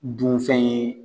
Dunfɛn ye